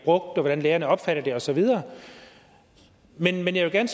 og hvordan lærerne opfatter dem og så videre men jeg